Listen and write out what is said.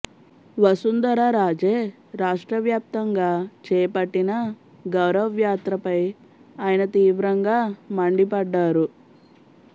వసుంధర రాజే రాష్ట్ర వ్యాప్తంగా చేపట్టిన గౌరవ్యాత్రపై ఆయన తీవ్రంగా మండిపడ్డారు